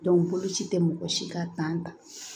boloci tɛ mɔgɔ si ka ta